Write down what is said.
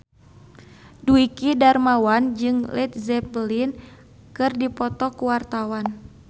Dwiki Darmawan jeung Led Zeppelin keur dipoto ku wartawan